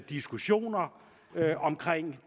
diskussioner om